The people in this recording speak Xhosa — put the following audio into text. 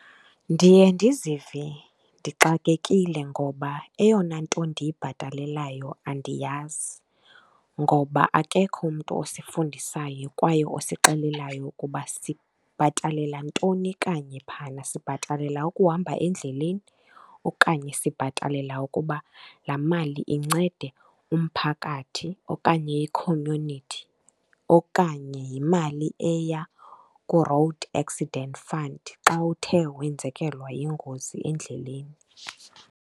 Ndiye ndizive ndixakekile ngoba eyona nto ndiyibhatalelayo andiyazi, ngoba akekho umntu osifundisayo kwaye osixelelayo ukuba sibhatalela ntoni kanye phana. Sibhatalela ukuhamba endleleni, okanye sibhatalela ukuba laa mali incede umphakathi okanye i-community, okanye yimali eya kuRoad Accident Fund xa uthe wenzekelwa yingozi endleleni?